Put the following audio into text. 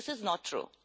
This is not true.